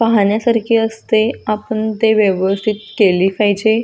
पाहण्यासारखे असते आपण ते व्यवस्थित केली पाहिजे.